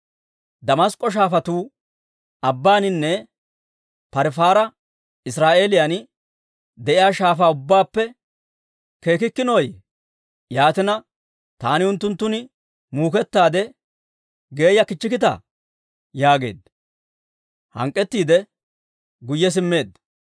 Damask'k'o shaafatuu, Abaaninne Parifaari Israa'eeliyaan de'iyaa shaafaa ubbaappe keekkikkinooyye? Yaatina taani unttunttun muukettaade geeya kichchikkitaa?» yaageedda. Hank'k'ettiide, guyye simmeedda.